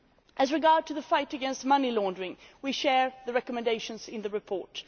As regards the fight against money laundering, we share the recommendations in the report.